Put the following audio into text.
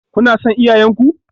Kuna son 'ya'yan ku?